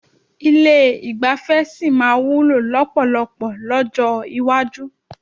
Ilé ìgbafẹ́ sì máa wúlò lọ́pọ̀lọpọ̀ lọ́jọ́ iwájú.